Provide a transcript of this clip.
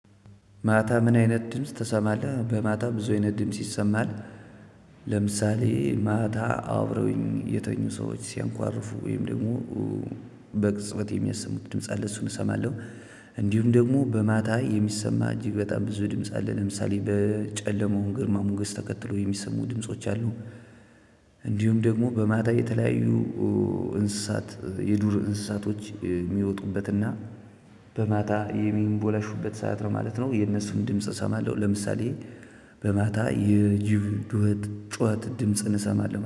ማታ? ምን አይነት ድምጽ ትሰማለህ በማታ ብዙ አይነት ድምጽ ይሰማል ለምሳሌ ማታ አብረው የተኙ ሰዎች ሲያንኳርፉ ወይም ደግሞ በቅፅበት የሚያሰሙት ድምጽ አለ። እሱን እሰማለሁ። እንዲሁም ደግሞ በማታ የሚሰማ እጅግ በጣም ብዙ ድምጽ አለ ለምሳሌ በጨለማው ግርማ ሞገስ ተከትሎ የሚሰሙ ድምጾች አሉ። እንዲሁም ደግሞ በማታ የተለያዩ እንስሳት የዱር እንስሳቶች ሚወጡበትና በማታ የሚንቦላሹበት ሰዓት ነው ማለት ነው። የነሱን ድምጽ እሰማለሁ ለምሳሌ በማታ የጅብ ጩኸት ድምጽ እንሰማለን